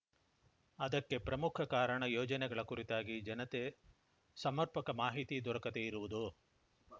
ಅದಕ್ಕೆ ಪ್ರಮುಖ ಕಾರಣ ಯೋಜನೆಗಳ ಕುರಿತಾಗಿ ಜನತೆ ಸಮರ್ಪಕ ಮಾಹಿತಿ ದೊರಕದೇ ಇರುವುದು